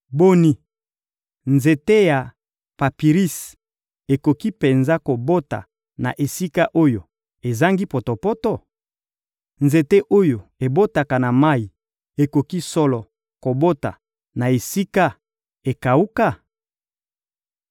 Boni, nzete ya papirisi ekoki penza kobota na esika oyo ezangi potopoto? Nzete oyo ebotaka na mayi ekoki solo kobota na esika ekawuka?